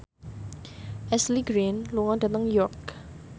Ashley Greene lunga dhateng York